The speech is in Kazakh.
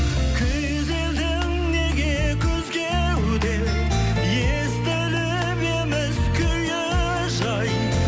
күйзелдің неге күз кеуде естіліп еміс күйі жай